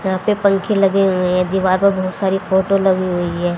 यह पे पंख लगे हुए हैं दीवार बहुत सारी फोटो लगी हुई है।